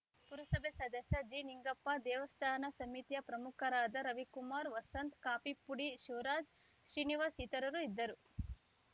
ಪುರಸಭೆ ಸದಸ್ಯ ಜಿನಿಂಗಪ್ಪ ದೇವಸ್ಥಾನ ಸಮಿತಿಯ ಪ್ರಮುಖರಾದ ರವಿಕುಮಾರ್‌ ವಸಂತ್‌ ಕಾಫೀಪುಡಿ ಶಿವ್ ರಾಜ್‌ ಶ್ರೀನಿವಾಸ್‌ ಇತರರು ಇದ್ದರು